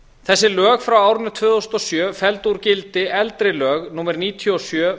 þessi lög frá árinu tvö þúsund og sjö felldu úr gildi lög númer níutíu og sjö